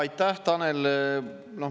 Aitäh, Tanel!